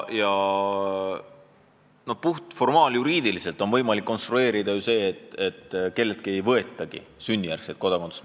Ja formaaljuriidiliselt on ju võimalik konstrueerida lähenemine, et kelleltki ei võetagi sünnijärgset kodakondsust.